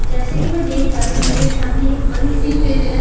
जैसे की मैं देख पा रही हूँ की मेरे सामने एक बड़ी सी फील्ड ह--